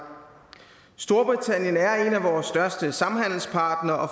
storbritannien er en af vores største samhandelspartnere og